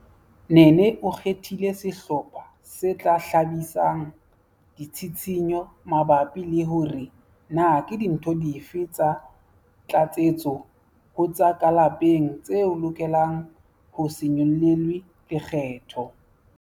Nene o kgethile sehlopha se tla hlahisang ditshitshinyo mabapi le hore na ke dintho dife tsa tlatsetso ho tsa ka lapeng tse lokelang ho se nyollelwe lekgetho.